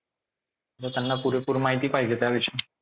त्यांना पुरेपूर माहिती पाहिजे त्या विषयी.